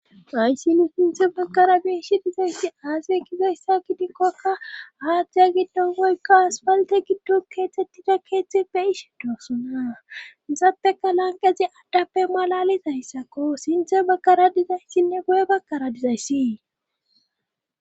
ayssi nu sinthe bakara biishi dizayssi aase gizayssa gidikkokka aadzdiya giddonoykka aspalte giddon keexettida keeththeppe ish doossona izappeka lanqezi addappe malalizayssakko sinthe bakara dizayssinne guye bakkara dizaysi